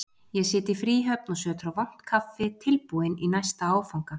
Ég sit í fríhöfn og sötra vont kaffi, tilbúinn í næsta áfanga.